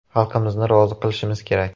Xalqimizni rozi qilishimiz kerak.